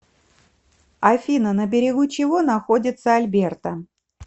афина на берегу чего находится альберта